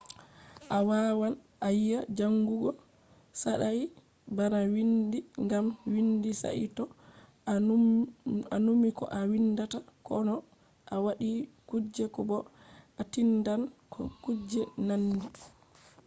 a wawan a wiya jangugo saɗai bana windi gam windi saito a numi ko a windata ko no a waɗi kuje ko bo a tindan no kuje nandi